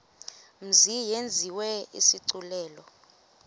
mzi yenziwe isigculelo